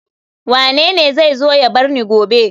Wanene zai zo ya bar ni gobe